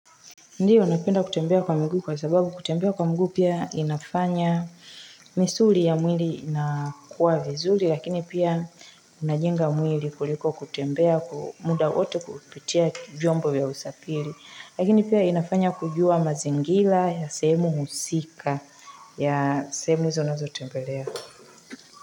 Ndiyo napenda kutembea kwa mguu kwa sababu kutembea kwa mguu pia inafanya. Misuli ya mwili inakuwa vizuri lakini pia. Unajenga mwili kuliko kutembea kumuda wote kupitia vyombo ya usapili lakini pia inafanya kujua mazingila ya semu husika ya semu za unazo tembelea.